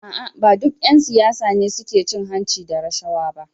A’a, ba duk ‘yan siyasa ne suke cin hanci da rashawa ba.